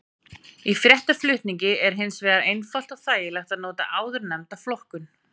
Í fréttaflutningi er hins vegar einfalt og þægilegt að nota áðurnefnda flokkun.